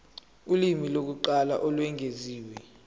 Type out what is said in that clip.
ulimi lokuqala olwengeziwe